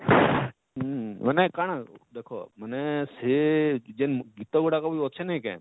ହୁଁ, ମାନେ କାଣା ଦେଖ ମାନେ ସେ ଯେନ ଗୀତ ଗୁଡାକ ବି ଅଛେ ନାଇଁ କାଏଁ?